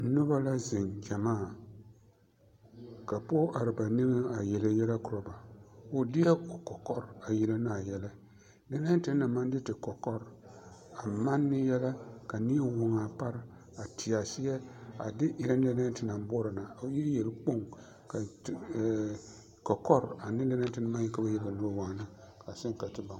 Noba la zeŋ gyɛmaa ka pɔge are ba nigeŋ a yelle yɛlɛ korɔ ba o de la o kɔkɔre a yelle ne a yɛlɛ lɛnɛɛ te naŋ na maŋ de te kɔkɔre a manne yɛlɛ ka neɛ woŋ a pare a teɛ a seɛ a de erɛ lɛnɛɛ te naŋ boɔrɔ na o e yelkpoŋ ka te ɛɛ kɔkɔre ane lɛnɛɛ te naŋ maŋ yelle ka ba woŋaa a seŋ ka te baŋ.